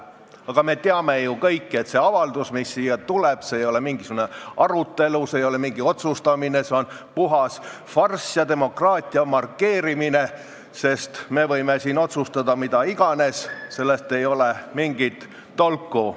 Aga me teame ju kõik, et see avaldus, mis siia tuleb, see ei ole mingisugune arutelu, see ei ole mingi otsustamine, see on puhas farss ja demokraatia markeerimine, sest meie võime siin otsustada mida iganes, sellest ei ole mingit tolku.